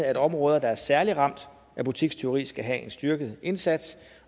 at områder der er særlig ramt af butikstyveri skal have en styrket indsats